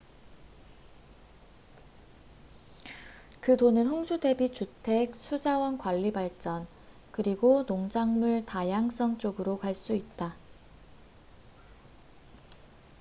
그 돈은 홍수 대비 주택 수자원 관리 발전 그리고 농작물 다양성 쪽으로 갈 수 있다